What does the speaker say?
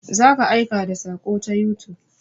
Za ka aika da saƙo ta youtube.